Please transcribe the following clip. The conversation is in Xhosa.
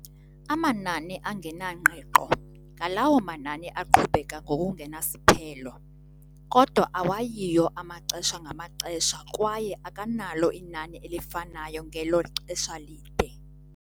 Amanani angenangqiqo ngalawo manani aqhubeka ngokungenasiphelo, kodwa awayiyo amaxesha ngamaxesha kwaye akanalo inani elifanayo ngelo xesha lide.